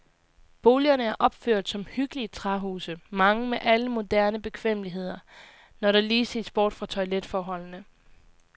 Boligerne er opført som hyggelige træhuse, mange med alle moderne bekvemmeligheder, når der lige ses bort fra toiletforholdene.